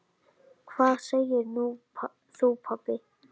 Hvað segir þú pabbi?